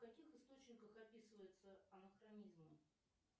в каких источниках описывается анахронизм